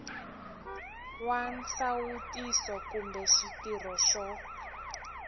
wa nsawutiso kumbe xitirho xo